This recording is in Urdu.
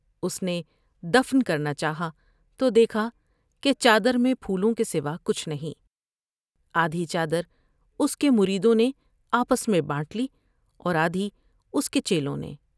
اس نےد فن کرنا چاہا تو دیکھا کہ چادر میں پھولوں کے سوا کچھ نہیں ۔آدھی چادر اس کے مریدوں نے آپس میں بانٹ لی اور آدھی اس کے چیلوں نے ۔